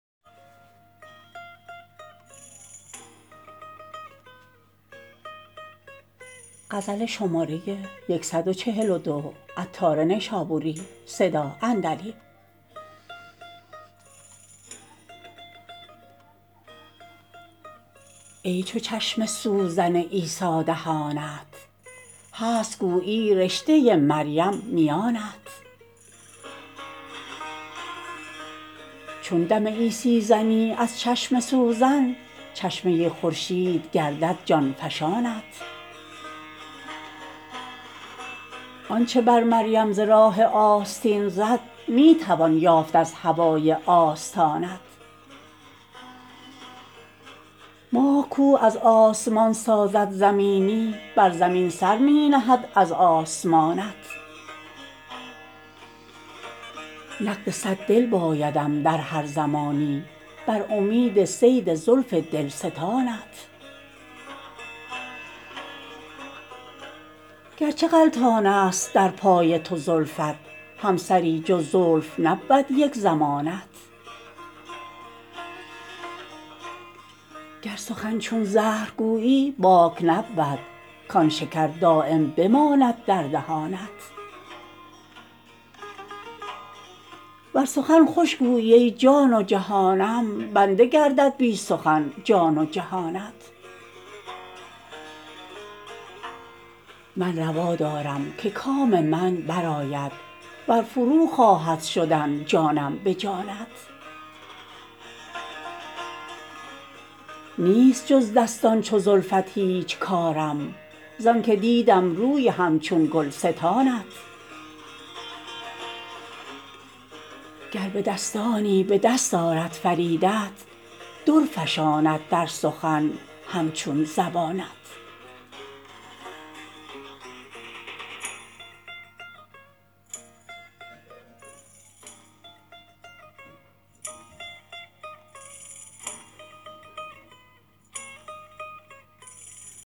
ای چو چشم سوزن عیسی دهانت هست گویی رشته مریم میانت چون دم عیسی زنی از چشم سوزن چشمه خورشید گردد جان فشانت آنچه بر مریم ز راه آستین زد می توان یافت از هوای آستانت ماه کو از آسمان سازد زمینی بر زمین سر می نهد از آسمانت نقد صد دل بایدم در هر زمانی بر امید صید زلف دلستانت گرچه غلطان است در پای تو زلفت هم سری جز زلف نبود یک زمانت گر سخن چون زهر گویی باک نبود کان شکر دایم بماند در دهانت ور سخن خوش گویی ای جان و جهانم بنده گردد بی سخن جان و جهانت من روا دارم که کام من برآید ور فرو خواهد شدن جانم به جانت نیست جز دستان چو زلفت هیچ کارم زانکه دیدم روی همچون گلستانت گر به دستانی به دست آرد فریدت در فشاند در سخن همچون زبانت